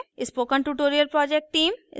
spoken tutorial project team: